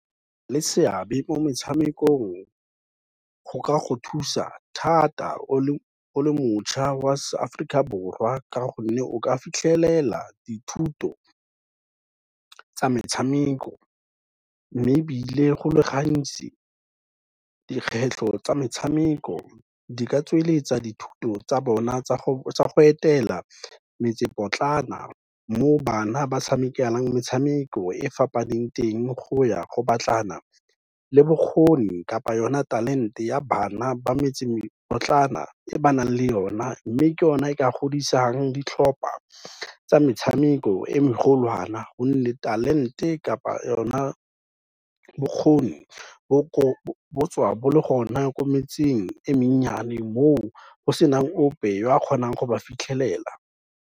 Le seabe mo metshamekong go ka go thusa thata o le mošwa wa se Aforika Borwa ka gonne o ka fitlhelela dithuto tsa metshameko mme ebile go le gantsi dikgwetlho tsa metshameko di ka tsweletsa dithuto tsa bona tsa go etela metsepotlana mo bana ba tshamekelang metshameko e fapaneng teng, go ya go batlana le bokgoni kapa o na talent-e ya bana ba metsepotlana e ba nang le o na, mme ke o na e ka godisang ditlhopha tsa metshameko e megolwana gonne talent-e kapa o na bokgoni bo tswa bo le gona ko metseng e mennyane mo o go senang ope o a kgonang go ba fitlhelela.